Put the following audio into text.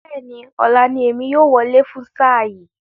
Bẹ́ẹ̀ni, ọ̀la ní èmi yóò wọlé fún sáà yìí